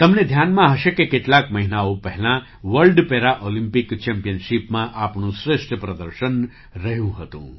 તમને ધ્યાનમાં હશે કે કેટલાક મહિનાઓ પહેલાં વર્લ્ડ પેરા ઑલિમ્પિક ચેમ્પિયનશિપમાં આપણું શ્રેષ્ઠ પ્રદર્શન રહ્યું હતું